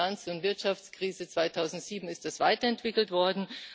Nach der Finanz und Wirtschaftskrise 2007 ist das weiterentwickelt worden.